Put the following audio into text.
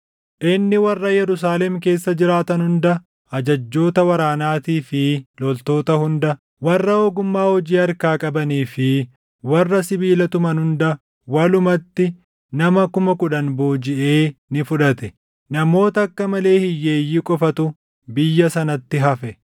Inni warra Yerusaalem keessa jiraatan hunda ajajjoota waraanaatii fi loltoota hunda, warra ogummaa hojii harkaa qabanii fi warra sibiila tuman hunda walumatti nama kuma kudhan boojiʼee ni fudhate. Namoota akka malee hiyyeeyyii qofatu biyya sanatti hafe.